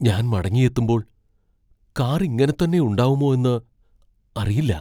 ഞാൻ മടങ്ങിയെത്തുമ്പോൾ കാർ ഇങ്ങനെ തന്നെ ഉണ്ടാവുമോന്ന് അറിയില്ല.